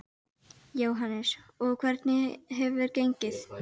Jóhannes: Og hvernig hefur gengið?